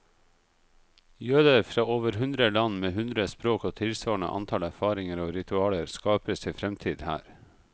Jøder fra over hundre land, med hundre språk og tilsvarende antall erfaringer og ritualer, skaper sin fremtid her.